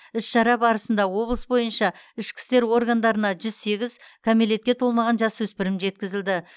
іс шара барысында облыс бойынша ішкі істер органдарына жүз сегіз кәмелетке толмаған жасөспірім жеткізілді